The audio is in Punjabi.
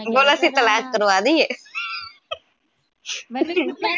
ਬੋਲਣਾ ਸੀ ਇਲਾਜ਼ ਕਰਵਾਦੀਏ